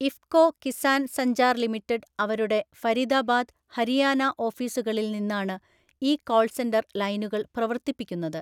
IFFCO Kisan‍ Sanchar‍ limited അവരുടെ ഫരിദബാദ്, ഹരിയാന ഓഫീസുകളിൽ നിന്നാണ് ഈ കോള്‍ സെന്റര്‍ ലൈനുകള്‍ പ്രവർത്തിപ്പിക്കുന്നത്.